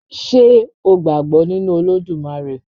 Ṣé o gbàgbọ́ nínu Olódùmarè?